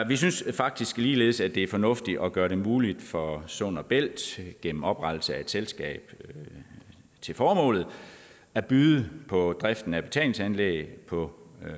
vi synes faktisk ligeledes at det er fornuftigt at gøre det muligt for sund og bælt gennem oprettelse af et selskab til formålet at byde på driften af betalingsanlæg på